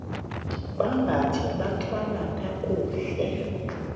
bambathe bathwale kakuhle